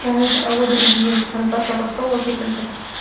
і і одан кейін наташа ростова секілді